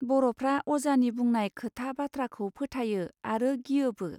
बर'फ्रा अजानि बुंनाय खोथा बाथ्राखौ फोथायो आरो गियोबो.